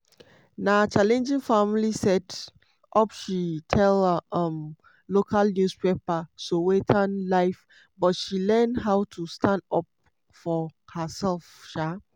na challenging family set-up she tell um local newspaper sowetan live but she learn how to stand up for herself. um